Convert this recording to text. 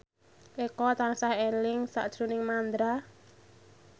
Eko tansah eling sakjroning Mandra